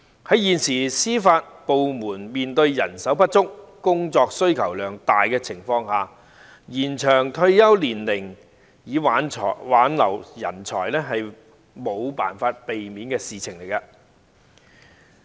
在現時司法部門面對人手不足、工作需求量大的情況下，延長退休年齡以挽留人才是無法避免的事情。